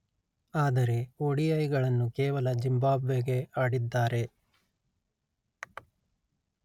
ಆದರೆ ಒ_letter-en ಡಿ_letter-en ಐ_letter-en ಗಳನ್ನು ಕೇವಲ ಜಿಂಬಾಂಬ್ವೆಗೆ ಆಡಿದ್ದಾರೆ